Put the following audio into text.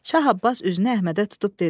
Şah Abbas üzünü Əhmədə tutub dedi: